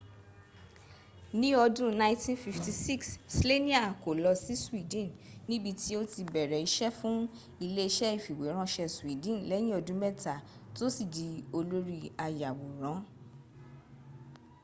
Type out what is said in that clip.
ní ọdún 1956 slania kó lọ sí sweden níbití ó ti bẹ̀rẹ̀ iṣẹ́ fún ilé iṣẹ́ ìfìwéránṣẹ́ sweden lẹ́yìn ọdún mẹ́ta tó sì di olórí ayàwòrán